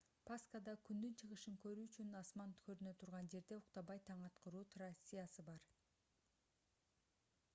пасхада күндүн чыгышын көрүү үчүн асман көрүнө турган жерде уктабай таң аткаруу трациясы бар